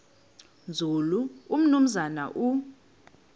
nzulu umnumzana u